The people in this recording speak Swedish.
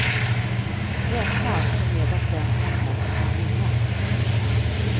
Räkna alltså med att vem som helst kan vinna.